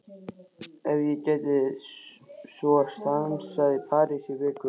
Ef ég gæti svo stansað í París í viku?